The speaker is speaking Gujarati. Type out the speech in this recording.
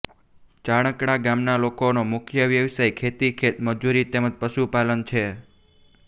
ચારણકા ગામના લોકોનો મુખ્ય વ્યવસાય ખેતી ખેતમજૂરી તેમ જ પશુપાલન છે